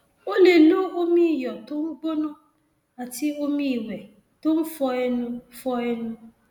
o lè lo omi iyọ tó ń gbóná àti omi ìwẹ tó ń fọ ẹnu fọ ẹnu